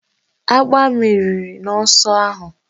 Agba meriri n'ọsọ ahụ